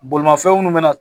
Bolimafɛn minnu bɛna na